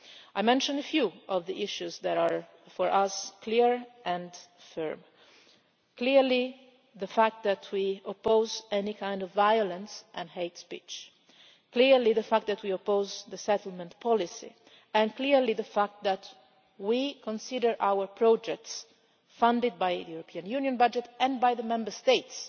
I mentioned a few of the issues that are clear and firm for us clearly, the fact that we oppose any kind of violence and hate speech, clearly, the fact that we oppose the settlement policy and, clearly, the fact that we consider our projects, funded by the European Union budget and by the Member States